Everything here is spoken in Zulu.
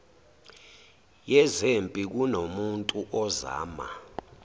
yezempi kunomuntu ozama